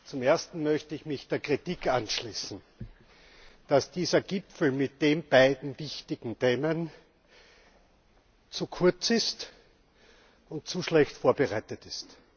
Zum Ersten möchte ich mich der Kritik anschließen, dass dieser Gipfel mit den beiden wichtigen Themen zu kurz ist und zu schlecht vorbereitet ist.